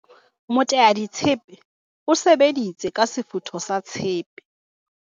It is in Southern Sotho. moteaditshepe o sebeditse ka sefutho sa tshepe